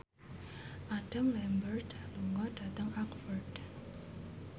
Adam Lambert lunga dhateng Oxford